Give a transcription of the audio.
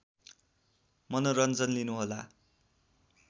मनोरन्जन लिनु होला